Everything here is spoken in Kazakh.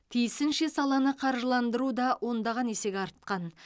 тиісінше саланы қаржыландыру да ондаған есеге артқан